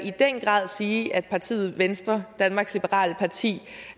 sige at partiet venstre danmarks liberale parti